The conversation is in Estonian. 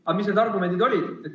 Aga mis need argumendid olid?